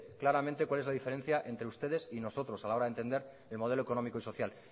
claramente cuál es la diferencia entre ustedes y nosotros a la hora de entender el modelo económico y social